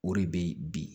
O de bɛ bi